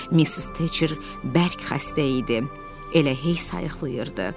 Missis Teçer bərk xəstə idi, elə heysayıqlayırdı.